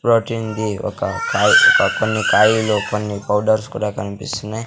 Protein ది ఒక కాయ్ ఒక కొన్ని కాయిలో కొన్ని పౌడర్స్ కూడా కనిపిస్తున్నాయి.